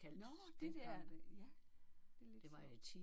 Nåh de der. Ja det er lidt sjovt